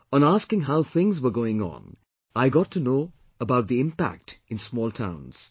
On asking how things were going on, I got to know about the impact in small towns